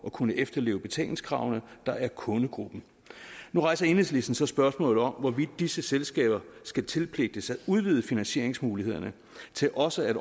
at kunne efterleve betalingskravene der er kundegruppen nu rejser enhedslisten så spørgsmålet om hvorvidt disse selskaber skal tilpligtes at udvide finansieringsmulighederne til også at